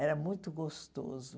Era muito gostoso.